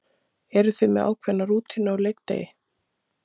Eru þið með ákveðna rútínu á leikdegi?